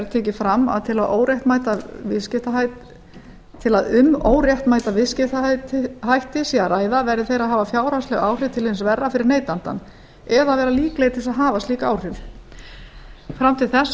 tekið fram að til að um óréttmæta viðskiptahætti sé að ræða verði þeir að hafa fjárhagsleg áhrif til hins verra fyrir neytandann eða vera líklegir til þess að hafa slík áhrif fram til þessa